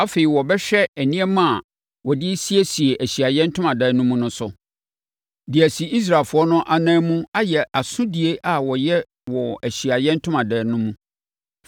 Afei, wɔbɛhwɛ nneɛma a wɔde siesie Ahyiaeɛ Ntomadan mu no so, de asi Israelfoɔ no no anan mu ayɛ asodie a wɔyɛ wɔ Ahyiaeɛ Ntomadan no mu.